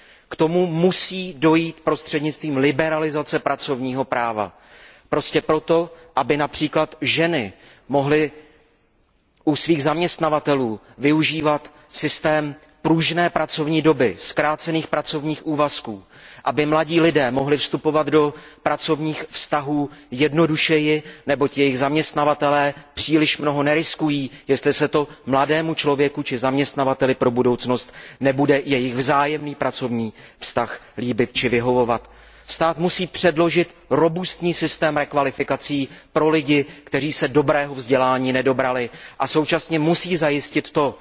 K tomu musí dojít prostřednictvím liberalizace pracovního práva, například proto, aby ženy mohly u svých zaměstnavatelů využívat systém pružné pracovní doby, zkrácených pracovních úvazků nebo aby mladí lidé mohli vstupovat do pracovních vztahů jednodušeji, neboť jejich zaměstnavatelé nebudou příliš mnoho riskovat, pokud se mladému člověku či zaměstnavateli do budoucna nebude jejich vzájemný pracovní vztah líbit či vyhovovat. Stát musí předložit robustní systém rekvalifikací pro lidi, kteří se dobrého vzdělání nedobrali, a současně musí zajistit to,